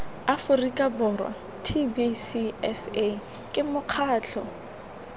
aforika borwa tbcsa ke mokgatlo